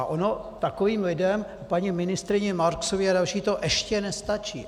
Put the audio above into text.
A ono takovým lidem, paní ministryni Marksové a dalším, to ještě nestačí.